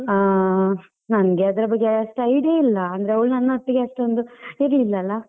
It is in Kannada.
ಹಾ, ನಂಗೆ ಅದ್ರ ಬಗ್ಗೆ ಅಷ್ಟು idea ಇಲ್ಲ ಅಂದ್ರೆ ಅವಳು ನನ್ನೊಟ್ಟಿಗೆ ಅಷ್ಟೊಂದು ಇರ್ಲಿಲ್ಲ ಅಲ್ಲ.